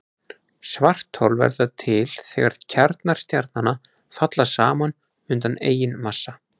Svarthol verða til þegar kjarnar stjarnanna falla saman undan eigin massa.